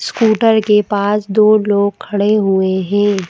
Scooter के पास दो लोग खड़े हुए हैं।